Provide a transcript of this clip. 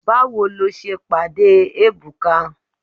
Báwo lo ṣe pàdé Ebuka?